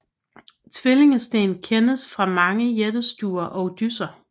Tvillingesten kendes fra mange jættestuer og dysser